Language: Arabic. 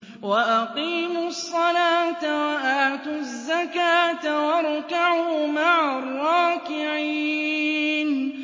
وَأَقِيمُوا الصَّلَاةَ وَآتُوا الزَّكَاةَ وَارْكَعُوا مَعَ الرَّاكِعِينَ